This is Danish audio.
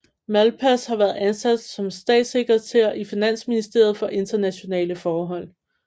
Malpass har været ansat som statssekretær i finansministeriet for internationale forhold